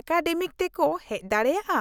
ᱮᱠᱟᱰᱮᱢᱤᱛᱮᱠᱚ ᱦᱮᱪ ᱫᱟᱲᱮᱭᱟᱜᱼᱟ ?